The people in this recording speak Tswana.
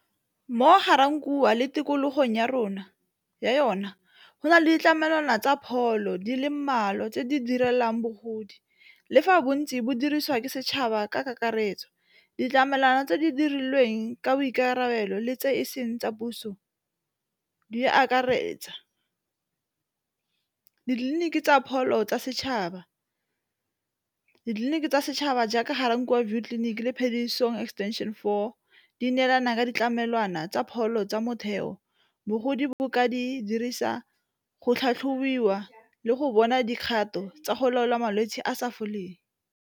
Mo Ga-Rankuwa le tikologong ya yona go na le ditlamelwana tsa pholo di le mmalwa tse di direlwang bogodi le fa bontsi bo dirisiwa ke setšhaba ka kakaretso, ditlamelwana tse di dirilweng ka boikarabelo le tse e seng tsa puso di akaretsa, ditleliniki tsa pholo tsa setšhaba, ditleliniki tsa setšhaba jaaka Ga-Rankuwa view tliliniki le Phediso extension four, di neelana ka ditlamelwana tsa pholo tsa motheo bogodi bo bo ka di dirisa go tlhatlhobiwa le go bona dikgato tsa go laola malwetse a sa foleng.